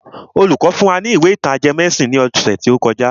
Olùkọ́ fún wa ní ìwé ìtàn ajẹmọ́ ẹ̀sìn ní ọ̀sẹ̀ tó kọjá.